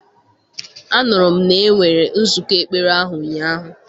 Anụrụ m na enwere nzụkọ ekpere ahụ ụnyahụ.